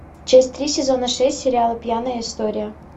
часть три сезона шесть сериала пьяная история